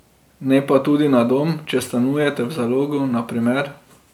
Ne pa tudi na dom, če stanujete v Zalogu, na primer.